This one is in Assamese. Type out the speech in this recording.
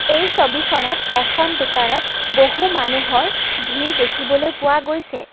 এই ছবিখনত এখন দোকানত বহু মানুহৰ ভিৰ দেখিবলৈ পোৱা গৈছে।